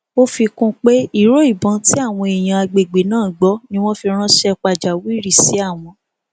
ó fi kún un pé ìró ìbọn tí àwọn èèyàn àgbègbè náà gbọ ni wọn fi ránṣẹ pàjáwìrì sí àwọn